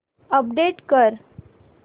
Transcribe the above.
update कर